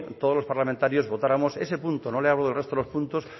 todos los parlamentarios votáramos ese punto no le hablo del resto de los puntos